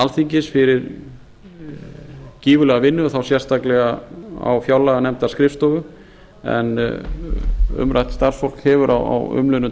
alþingis fyrir gífurlega vinnu þá sérstaklega á fjárlaganefndarskrifstofu en umrætt starfsfólk hefur á umliðnum